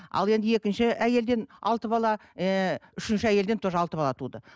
ал енді екінші әйелден алты бала ыыы үшінші әйелден тоже алты бала туылды